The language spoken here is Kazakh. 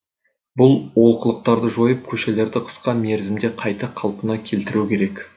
бұл олқылықтарды жойып көшелерді қысқа мерзімде қайта қалпына келтіру керек